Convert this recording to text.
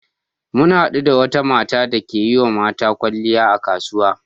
Mun haɗu da wata mata dake yiwa mata kyalliya a kasuwa.